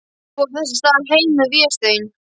Fór þess í stað heim með Véstein.